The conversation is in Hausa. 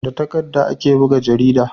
da takadda ake buga jarida